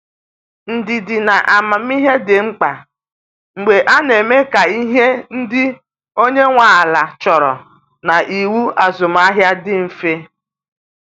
Ndidi na amamihe dị mkpa mgbe a na-eme ka ihe ndị onye nwe ala chọrọ na iwu azụmahịa dị mfe.